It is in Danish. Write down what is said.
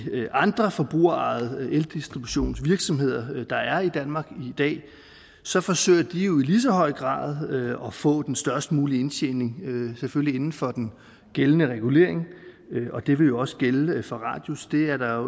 andre forbrugerejede eldistributionsvirksomheder der er i danmark i dag så forsøger de i lige så høj grad at få den størst mulige indtjening selvfølgelig inden for den gældende regulering og det ville jo også gælde for radius det er der